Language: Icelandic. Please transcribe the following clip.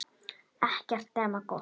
Ekkert nema gott.